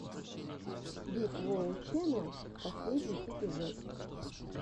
биг воу ченнал последний эпизод